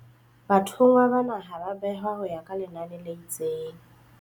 Bathonngwa bana ha ba a behwa ho ya ka lenane le itseng.